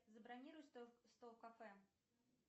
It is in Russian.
забронируй стол в кафе